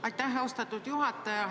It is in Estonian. Aitäh, austatud juhataja!